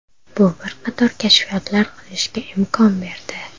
Bu bir qator kashfiyotlar qilishga imkon berdi.